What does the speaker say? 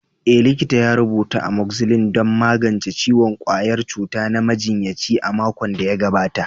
Eh, likita ya rubuta Amoxicillin don magance ciwon ƙwayar cuta na majinyaci a makon da ya gabata.